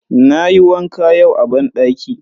Na yi wanka yau a banɗaki